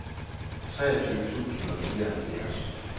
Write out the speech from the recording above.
treogtyve tusind og fireoghalvfjerds